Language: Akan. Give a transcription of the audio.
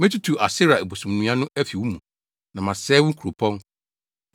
Metutu Asera abosomnnua no afi wo mu na masɛe wo nkuropɔn.